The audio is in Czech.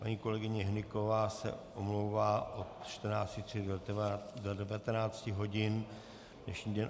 Paní kolegyně Hnyková se omlouvá od 14.30 do 19 hodin dnešní den.